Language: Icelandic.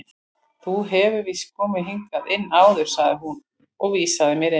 Þú hefur víst komið hingað inn áður sagði hún og vísaði mér inn.